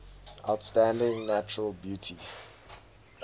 outstanding natural beauty